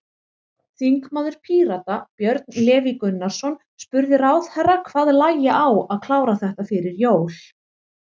Þingmaður Pírata, Björn Leví Gunnarsson, spurði ráðherra hvað lægi á að klára þetta fyrir jól?